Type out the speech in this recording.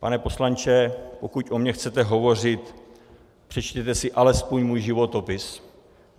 Pane poslanče, pokud o mně chcete hovořit, přečtěte si alespoň můj životopis.